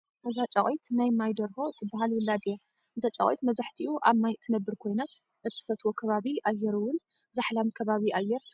እዛ ጫቂት ናይ ማይ ደርሆ እትባሃል ውላድ እያ። እዛ ጫቁት መብዛሕትኡ ኣብ ማይ እትነብር ኮይና እትፈትዎ ከባቢ ኣየር እውን ዛሕላም ከባቢ ኣየር ትፈትው።